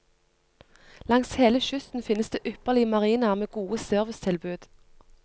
Langs hele kysten finnes det ypperlige marinaer med gode servicetilbud.